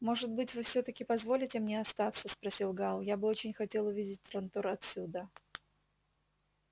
может быть вы всё-таки позволите мне остаться спросил гаал я бы очень хотел увидеть трантор отсюда